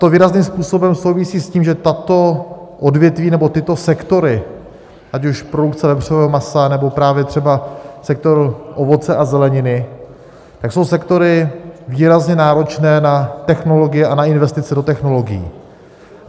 To výrazným způsobem souvisí s tím, že tato odvětví, nebo tyto sektory, ať už produkce vepřového masa, nebo právě třeba sektor ovoce a zeleniny, tak jsou sektory výrazně náročné na technologii a na investice do technologií.